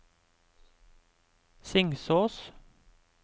Singsås